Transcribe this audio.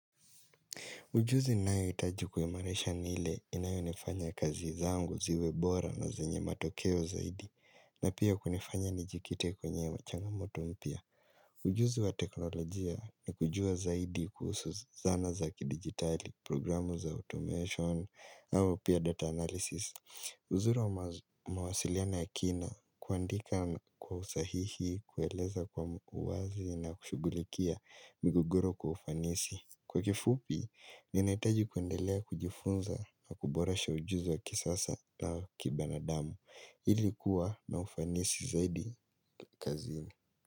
Ujuzi ninayoitaji kuimarisha ni ile inayo nifanya kazi zangu ziwe bora na zenye matokeo zaidi na pia kunifanya nijikite kwenye wachanga moto mpia. Ujuzi wa teknolojia ni kujua zaidi kuhusu zana zakidigitali, programu za automation au pia data analysis. Uzuri mawasiliano ya kina kuandika kwa usahihi, kueleza kwa uwazi na kushugulikia migogoro kwa ufanisi. Kwa kifupi, ninaitaji kuendelea kujifunza na kuborasha ujuzi wa kisasa na kibana damu. Hili kuwa na ufanisi zaidi kazini.